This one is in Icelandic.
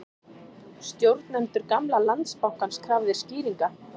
Stjórnendur gamla Landsbankans krafðir skýringa